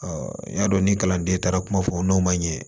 n y'a dɔn ni kalanden taara kuma fɔ n'o man ɲɛ